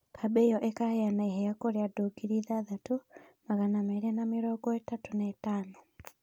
Kambĩ ĩyo ĩkaheana iheo kũrĩ andũ ngiri ithathatũ, magana merĩ na mĩrongo ĩtatũ na ĩtano